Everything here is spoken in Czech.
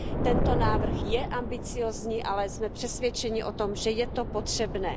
Tento návrh je ambiciózní, ale jsme přesvědčeni o tom, že je to potřebné.